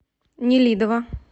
нелидово